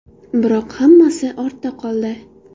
Biroq hammasi ortda qoldi.